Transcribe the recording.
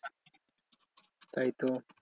তাই তো।